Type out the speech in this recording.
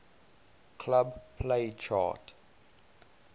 club play chart